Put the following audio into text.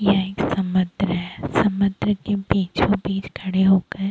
यह एक समुन्द्र है समुन्द्र के बीचो बीच खड़े हो कर --